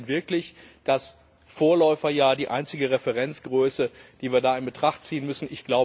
Aber ist denn wirklich das Vorläuferjahr die einzige Referenzgröße, die wir da in Betracht ziehen müssen?